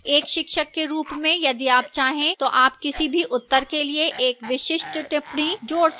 एक शिक्षक के रूप में यदि आप चाहें तो आप किसी भी उत्तर के लिए एक विशिष्ट टिप्पणी जोड़ सकते हैं